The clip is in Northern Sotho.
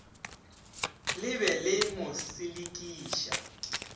le be le mo selekiša